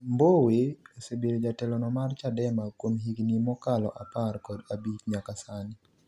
Mbowe osebedo jatelono mar Chadema kuom higni mokalo apar kod abich nyaka sani